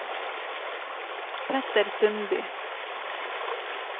Petter Sundby